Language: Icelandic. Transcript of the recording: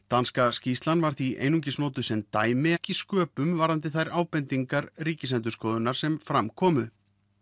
danska skýrslan var því einungis notuð sem dæmi ekki sköpum varðandi þær ábendingar Ríkisendurskoðunar sem fram komu